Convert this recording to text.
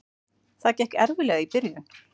Það gekk erfiðlega í byrjun.